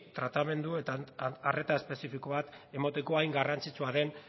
tratamendu eta arreta espezifiko bat emateko hain garrantzitsua den